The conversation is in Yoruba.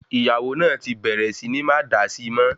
Ìyàwó náà tí bẹ̀rẹ̀ sì ní máa dá síi mọ́